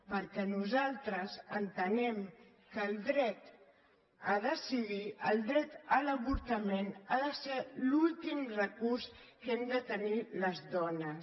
perquè nosaltres entenem que el dret a decidir el dret a l’avortament ha de ser l’últim recurs que hem de tenir les dones